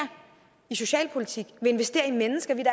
i socialpolitik vil investere i mennesker vi